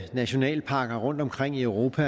nationalparker rundtomkring i europa